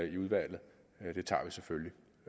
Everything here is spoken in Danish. i udvalget den tager vi selvfølgelig